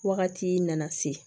Wagati nana se